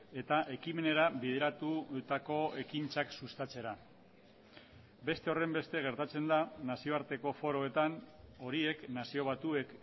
eta ekimenera bideratutako ekintzak sustatzera beste horrenbeste gertatzen da nazioarteko foroetan horiek nazio batuek